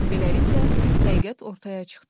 Beləliklə, həqiqət ortaya çıxdı.